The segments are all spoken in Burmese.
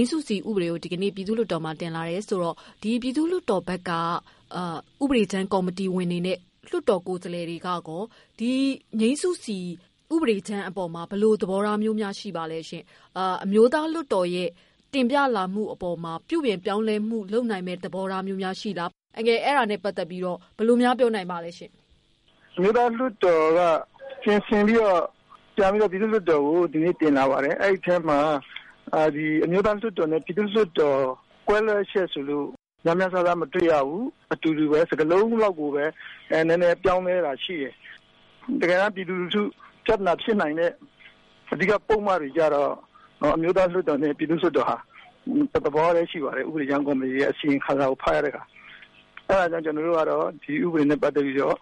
မ်းစုစီဥပဒေကို ဒီကနေ့ ့ ပြည်သူ့လွှတ်တော်မှာ တင်လာတယ်ဆိုတော့ ပြည်သူ့လွှတ်တော်ဘက်က ဥပဒေကြမ်းကေ်ာမတီဝင်တွေအနေနဲ့ လွှတ်တော်တွေကရော ငြိမ်းစုစီဥပဒေကြမ်း အပေါ်မှာ ဘယ်လိုသဘောထားမျိုးများ ရှိပါသလဲရှင့်။အမျိုးသားလွှတ်တော်ဘက်က တင်ပြလာမှုအပေါ်မှာ ပြုပြင်ပြောင်းလဲမှု လုပ်နိုင်တဲ့ သဘောထားမျိုးရှိလား ၊ ဘယ်လိုများ ပြောနိုင်ပါသလဲရှင့်။ လွှတ်တော်က ပြင်ဆင်ပြီးတေ့ာ ပြန်ပြီးတော့ ပြည်သူ့လွှတ်တော်ကိုတင်လာပါတယ်။ အဲဒီအထဲမှာ အမျိုးသားလွှတ်တော်နဲ့ ပြည်သူ့လွှတ်တော် ကွဲလွဲတယ်ဆိုလို့ များများစားစားမတွေ့ရဘူး။ စကားလုံးလောက်ကိုပဲ နည်းနည်းပြောင်းလဲတာရှိတယ်။ တကယ်တမ်း ပြည်သူလူထု ပြဿနာဖြစ်နိုင်တဲ့ ပုဒ်မတွေကျတော့ အမျိုးသားလွှတ်တော်နဲ့ ပြည်သူ့လွှတ်တော်ဟာ တစ်သဘောပဲ ရှိပါတယ်။ဥပဒေကြမ်းကော်မတီရဲ့ အစီရင်ခံစာကို ဖတ်ရတဲ့အခါ အဲဒါကြောင့် ကျနော်တို့ကတော့ ဒီဥပဒေနဲ့ ပတ်သက်ပြီးတော့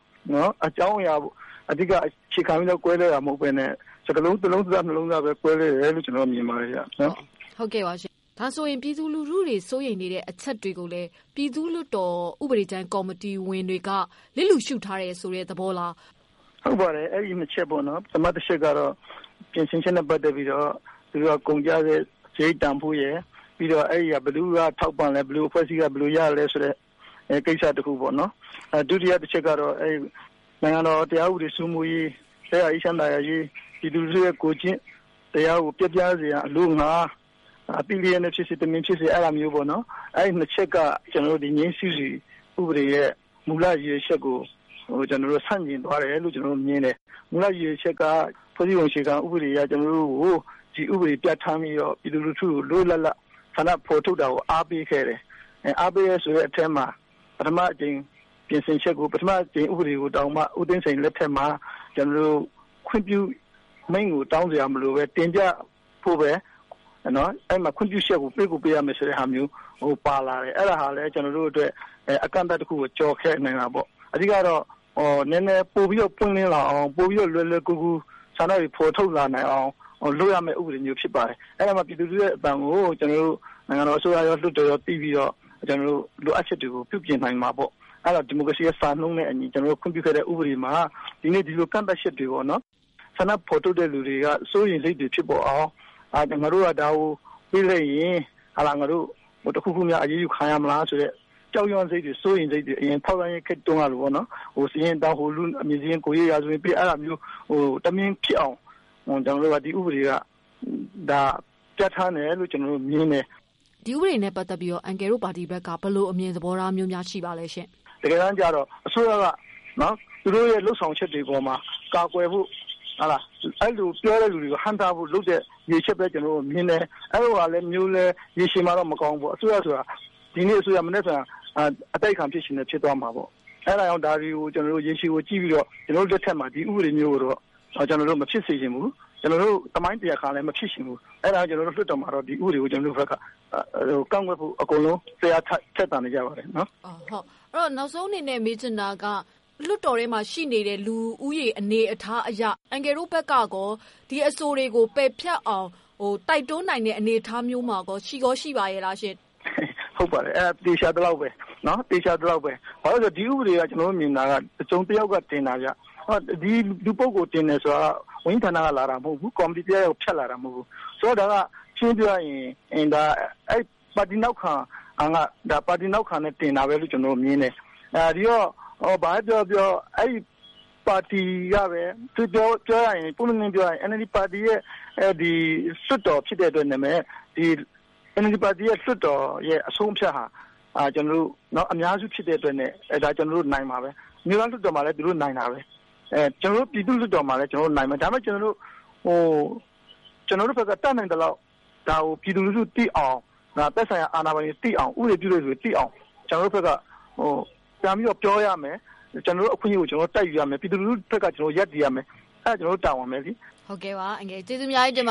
အကြောင်းအရာကို အဓိက အခြေခံပြီး ကွဲလွဲတာမဟုတ်ပဲနဲ့ ၊စကားလုံးလောက်ပဲ ကွဲလွဲတယ်လို့ ကျနော်မြင်ပါတယ်။ ဒါဆိုရင် လူထုတွေစိုးရိမ်နေတဲ့ အချက်တွေကိုလည်း ပြည်သူ့လွှတ်တော် ဥပဒေကြမ်းကော်မတီဝင်တွေက လစ်လျူရှုထားတယ်ဆိုတဲ့သဘောလား။ ဟုတ်ပါတယ်။ အချက် ၂ ချက်ပေါ့နော် ပထမတချက်ကတော့ ပြင်ဆင်ချက်နဲ့ ပတ်သက်ပြီးတော့ ကုန်ကျတဲ့ စားရိတ်တန်ဖိုးရယ်၊ ပြီးတော့ ဘယ်သူက ထောက်ပံ့သလဲ ဘယ်အဖွဲ့အစည်းက ဘယ်လိုရသလဲဆိုတဲ့ ကိစ္စတခုပေါနော် ဒုတိယတချက်ကတော့ နိုင်ငံတော်တရားဥပဒေစိုးမိုးရေး၊ ရပ်ရွာအေးချမ်းသာယာရေး ၊ ပြည်သူလူထုရဲ့ ကိုယ်ကျင့်တရားကို ပျက်ပြားစေရန် အလို့ဌာ သိလျက်နဲ့ ဖြစ်စေ တမင်ဖြစ်စေပေ့ါနော်။ အဲဒီ ၂ ချက်က ငြိမ်းစုစီဥပဒေရဲ့ မူလအချက်ကို ဆန့်ကျင်သွားတယ်လို့ ကျနော်တို့ မြင်တယ်။ မူလရည်ရွယ်ချက်က ဖွဲ့စည်းပုံအခြေခံဥပဒေအရ ကျနော်တို့ကို ဒီဥပဒေ ပြဌာန်း ပြီးတော့ ပြည်သူလူထုက လွတ်လွတ်လပ်လပ် ဆန္ဒဖော်ထုတ်တာကို အားပေးခဲ့တယ်။ အားပေးတယ်ဆိုတဲ့အထဲမှာ ပထမအကြိမ်ပြင်ဆင်ချက်ကို သမ္မတဦးသိန်းစိန်လက်ထက်မှာ ခွင့်ပြုမိန့်ကိုတောင်းစရာမလိုပဲ ခွင့်ပြုချက်ကို ပေးကိုပေးရမယ်ဆိုတာမျိုး ပါတယ် အဲဒါက ျကနော်တို့ကို အကန့်အသတ်တခုကို ကျော်ခဲ့နိုင်တာပေါ့။ အဓိကတော့ ပိုပြီးတော့ ပွင့်လင်းလာအောင် ပိုပြီးတော့ လွယ်လွယ်ကူကူ ဆန္ဒတွေ ဖော်ထုတ်လာနိုင်အောင် လုပ်ရမယ့်ဥပဒေမျိုးဖြစ်ပါတယ်။ အဲဒါမှ ပြည်သူလူထုရဲ့အသံကို နိုင်ငံတော်အစိုးရရော ပြည်သူ့လွှတ်တော်ရော သိပြီးတော့ လိုအပ်ချက်တွေကို ပြုပြင်နိုင်မှာပေါ့ ။ ဒီမိုကရေစီစံနှုန်းနဲ့ ခွင့်ပြုခဲ့တဲ့ ဥပဒေမှာ ဒီနေ့ဒီလို ကန့်သတ်ချက်တွေကြောင့် ဆန္ဒဖော်ထုတ်တဲ့လူတွေကို စိုးရိမ်စိတ်တွေဖြစ်အောင် အရင်ထောက်လှမ်းရေးခေတ်ကလိုပေ့ါနော် ဟိုလူ့အမည်စာရင်း ၊ ရာဇဝင်ပေး ဒီလိုမျိုးတမင်ဖြစ်အောင် ဒီ ဥပဒေက ပြဌာန်းတယ်လို့ ကျနော်တို့ကမြင်တယ်။ ဒီဥပဒေနဲ့ ပတ်သက်ပြီး အန်ကယ်တို့ပါတီက ဘယ်လိုအမြင်သဘောထားရှိပါသလဲရှင့်။ အစိုးရက သူတို့ရဲ့ လုပ်ဆောင်ချက်တွေအပေါ်မှာ ကာကွယ်ဖို့ ၊ အဲဒီလို ပြောတဲ့လူတွေကို ဟန့်တားဖို့ လုပ်တဲ့ ရည်ရွယ်ချက်လို့ မြင်တယ်။ အဲလိုဟာမျိုးလည်း ရေရှည်မှာတော့ မကောင်းဘူးပေါ့ အစိုးရဆိုတာက ဒီနေ့အစိုးရ မနက်ဖြန် အတိုက်အခံဖြစ်သွားချင်လည်း ဖြစ်သွားမယ်။ ဒါတွေကို ရေရှည်ကို ကြည့်ပြီးတော့ ကျနော်တို့ မဖြစ်စေချင်ဘူး။ ကျနော်တို့ သမိုင်းတွင်မဖြစ်ချင်ဘူး အဲဒါကြောင့် လွှတ်တော်မှာတော့ ကျနော်တို့ ကန့်ကွက်ဖို့ အကုန်လုံး စိတ်အားထက်သန်နေကြပါတယ်။ နောက်ဆုံးအနေနဲ့ မေးချင်တာက လွှတ်တော်ထဲမှာရှိတဲ့ လူဦးရေအနေအထားအရ အန်ကယ်တို့ဘက်က ဒီအဆိုတွေကို ပယ်ဖျက်အောင် တိုက်တွန်းနေတဲ့ အနေအထာမျိုးရော ရှိပါသလားရှင့်။ အဲဒါကတော့ သေချာသလောက်ပဲ ဘာဖြစ်လို့လဲဆိုတော့ ဒီဥပဒေက ကျနော်တို့မြင်တာက တစုံတယောက်က တင်တာဗျ။ ဒီလူတင်တယ်ဆိုတာက ဝန်ကြီးဌာနက လာတာမဟုတ်ဘူး။ ကော်မတီကတင်တာမဟုတ်ဘူး။ ဆိုတော့ ဒါကရှင်းရှင်းပြောရရင် ပါတီနောက်ခံနဲ့ တင်တာလို့ မြင်တယ်။ ပွင့်ပွင့်လင်းလင်းပြောရရင် NLD ရဲ့ လွှတ်တော်အဆုံးအဖြတ်ဟာ ကျနော်တို့ အများစု ဖြစ်တဲ့အတွက်နဲ့ ကျနော်တို့နိုင်မှာပါပဲ အမျိုးသားလွှတ်တော်မှာလည်း သူတို့နိုင်တယ်၊ ကျနော်တို့ ပြည်သူ့လွှတ်တော်မှာလည်း နိုင်မယ်။ ဒါပေမယ့် ကျနော်တို့ ဘက်က တတ်နိုင်သလောက် ပြည်သူလူထုသိအောင် ၊ အာဏာပိုင်တွေ ၊ ဥပဒေပြုတဲ့လူတွေသိအောင် ကျနော်တို့ ပြောရမယ်၊ ကျနော်တို့ အခွင့်အရေးကို ကျနော်တို့ တိုက်ယူရမယ်။ ပြည်သူလူထုအပေါ်ရပ်တည်ရမယ်။ ဒါကျနော်တို့ တာဝန်ပဲလေ။ ဟုတ်ကဲ့ ကျေးဇူးအများကြီးတင်ပါတယ